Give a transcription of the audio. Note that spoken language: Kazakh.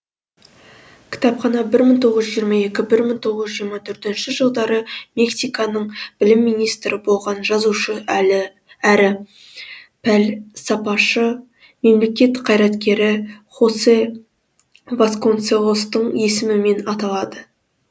кітапхана бір мың тоғыз жүз жиырма екі бір мың тоғыз жүз жиырма төртінші жылдары мексиканың білім министрі болған жазушы әрі пәлсапашы мемлекет қайраткері хосе васконселостың есімімен аталады